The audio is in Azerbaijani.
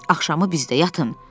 Axşamı bizdə yatın.